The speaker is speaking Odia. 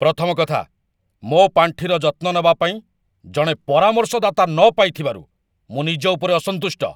ପ୍ରଥମ କଥା, ମୋ ପାଣ୍ଠିର ଯତ୍ନ ନେବା ପାଇଁ ଜଣେ ପରାମର୍ଶଦାତା ନ ପାଇଥିବାରୁ ମୁଁ ନିଜ ଉପରେ ଅସନ୍ତୁଷ୍ଟ।